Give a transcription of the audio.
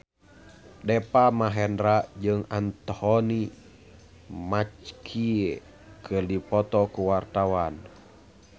Deva Mahendra jeung Anthony Mackie keur dipoto ku wartawan